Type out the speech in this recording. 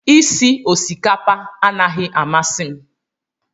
Isi osikapa anaghị amasị m